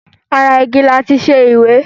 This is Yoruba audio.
Ara igi láti ṣe ìwé.